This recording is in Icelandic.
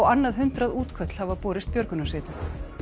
annað hundrað útköll hafa borist björgunarsveitum